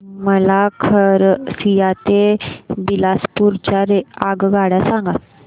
मला खरसिया ते बिलासपुर च्या आगगाड्या सांगा